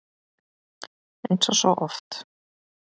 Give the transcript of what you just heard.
Eins og svo oft!